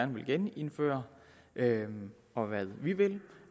vil genindføre og hvad vi vil